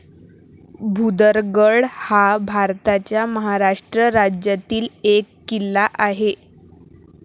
भुदरगड हा भारताच्या महाराष्ट्र राज्यातील एक किल्ला आहे.